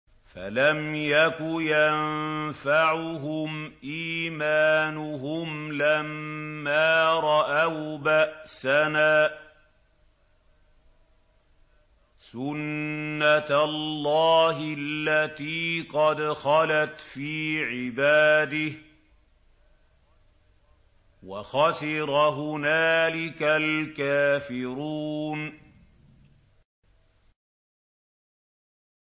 فَلَمْ يَكُ يَنفَعُهُمْ إِيمَانُهُمْ لَمَّا رَأَوْا بَأْسَنَا ۖ سُنَّتَ اللَّهِ الَّتِي قَدْ خَلَتْ فِي عِبَادِهِ ۖ وَخَسِرَ هُنَالِكَ الْكَافِرُونَ